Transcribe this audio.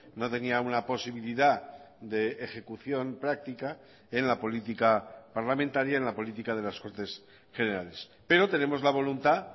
no tenía una posibilidadde ejecución práctica en la política parlamentaria en la política de las cortes generales pero tenemos la voluntad